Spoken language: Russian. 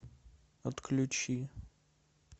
отключи